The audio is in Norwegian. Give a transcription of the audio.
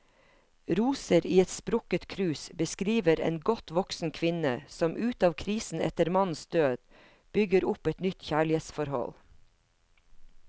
Roser i et sprukket krus beskriver en godt voksen kvinne som ut av krisen etter mannens død, bygger opp et nytt kjærlighetsforhold.